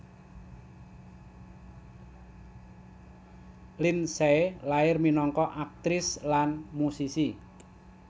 Lindsay lair minangka aktris lan musisi